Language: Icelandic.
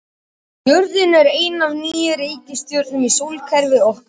Jörðin er ein af níu reikistjörnum í sólkerfi okkar.